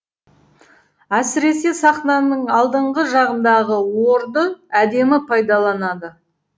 әсіресе сахнаның алдыңғы жағындағы орды әдемі пайдаланады